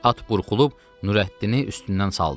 At burxulub Nurəddini üstündən saldı.